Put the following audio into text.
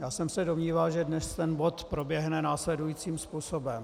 Já jsem se domníval, že dnes ten bod proběhne následujícím způsobem.